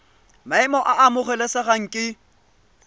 maemo a a amogelesegang ke